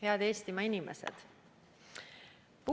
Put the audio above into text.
Head Eestimaa inimesed!